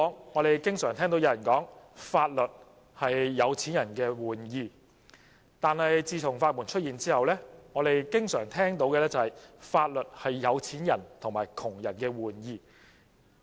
我們經常聽說："法律是有錢人的玩意"，但自從法援出現之後，我們經常聽到的是："法律是有錢人和窮人的玩意"。